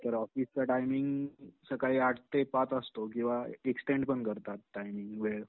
तर ऑफीस चा टायमिंग सकाळी आठ ते पाच असतो किंवा एक्सटेन्ड पण करतात टायमिंग वेळ.